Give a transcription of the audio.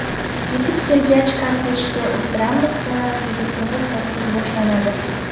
Yetib kelgach, kortejga o‘tiramiz va juda tig‘iz dastur boshlanadi.